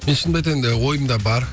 мен шынымды айтайын енді ойымда бар